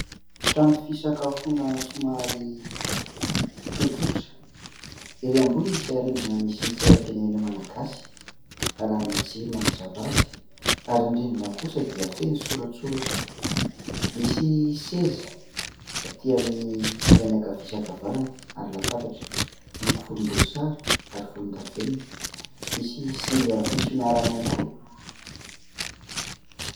Trano fisakafoana somary tsotsotra. Erỳ ambony misy arendrina misy ny sainam-pirenena malagasy, arahana jiro manazava azy ary ny rindrina kosa dia feno soratsoratra. Misy seza atỳ amin'ny ilany ankavia sy ankavanana ary latabatra miloko volomboasary ary volondavenona. Misy zinga fisotroana rano ihany koa.